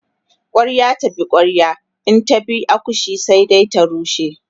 kwarya ta bi kwarya in ta bi akushe sai ta rushe